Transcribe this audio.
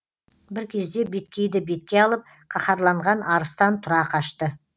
бір кезде беткейді бетке алып қаһарланған арыстан тұра қашты